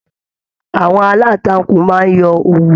Àwọn alantakun máa n yọ òwú.